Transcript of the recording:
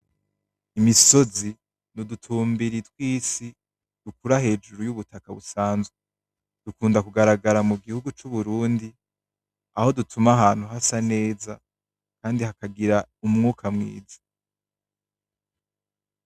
Imisozi nudutumbiri twisi dukura hejuru yubutaka busanzwe , dukunda kugaragara mugihugu c'uburundi aho dutuma abantu hasa neza Kandi hakagira umwuka mwiza .